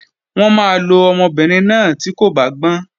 Wọ́n máa lo ọmọbìnrin náà tí kò bá gbọ́n